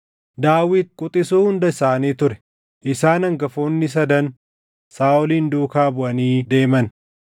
Daawit quxisuu hunda isaanii ture. Isaan hangafoonni sadan Saaʼolin duukaa buʼanii deeman;